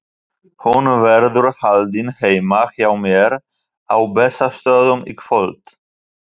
Hún verður haldin heima hjá mér á Bessastöðum í kvöld.